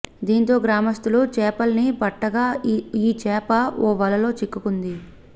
దీంతో గ్రామస్థులు చేపల్ని పట్టగా ఈ చేప ఓ వలలో చిక్కింది